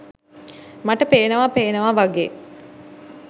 මට පේනවා පේනවා වගේ.